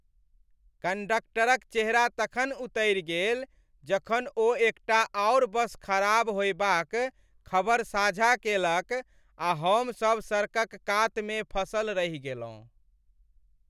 कंडक्टरक चेहरा तखन उतरि गेल जखन ओ एकटा आओर बस खराब होएबाक खबर साझा केलक आ हमसभ सड़कक कातमे फँसल रहि गेलहुँ।